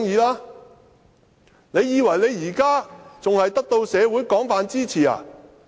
他以為他現時仍得到社會廣泛支持嗎？